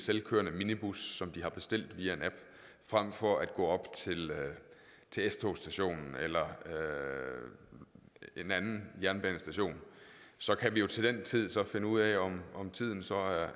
selvkørende minibus som de har bestilt via en app frem for at gå op til s togstationen eller en anden jernbanestation så kan vi jo til den tid finde ud af om om tiden så